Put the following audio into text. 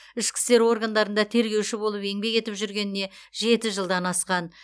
ішкі істер органдарында тергеуші болып еңбек етіп жүргеніне жеті жылдан асқан